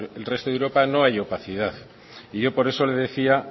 el resto de europa no hay opacidad y yo por eso le decía